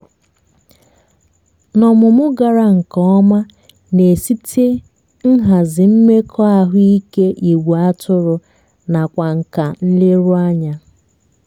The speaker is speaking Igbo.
na ọmụmụ gara nke ọma na-esite nhazi mmekọahụike igwe atụrụ nakwa nka nleruanya